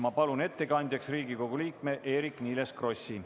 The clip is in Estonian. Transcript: Ma palun ettekandjaks Riigikogu liikme Eerik-Niiles Krossi.